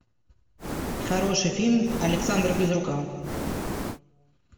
хороший фильм александра безрукова